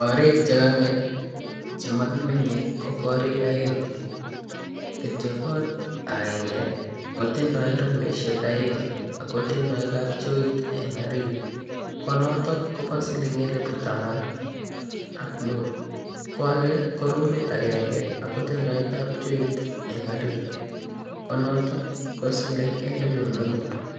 Korik che kang'et che maki menye ko korik aeng'. Kityo ko kot aenge kotindai rumishek aeng' ko tindai kapchoit en orit, ko notok ko pa siling'elipu taman ak mut. Ko age ko rumit agenge ako tindai kapchoit en orit, ko noton ko siling' elipu mut.